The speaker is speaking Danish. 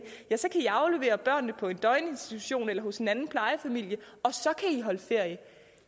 så kan i aflevere børnene på en døgninstitution eller hos en anden plejefamilie og så kan i holde ferie